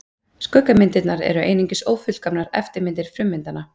skuggamyndirnar eru einungis ófullkomnar eftirmyndir frummyndanna